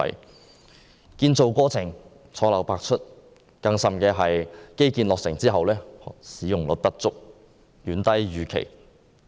基建項目建造過程錯漏百出，更甚的是項目落成後使用率不足，遠低於預期。